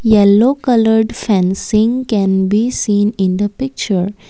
yellow coloured fencing can be seen in the picture.